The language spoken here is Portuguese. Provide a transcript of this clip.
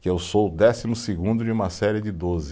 Que eu sou o décimo segundo de uma série de doze.